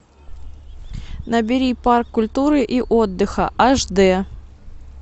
набери парк культуры и отдыха аш дэ